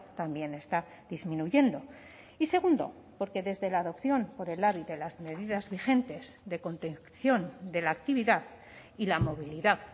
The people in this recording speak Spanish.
también está disminuyendo y segundo porque desde la adopción por el labi de las medidas vigentes de contención de la actividad y la movilidad